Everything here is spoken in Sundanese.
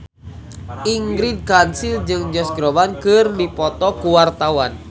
Ingrid Kansil jeung Josh Groban keur dipoto ku wartawan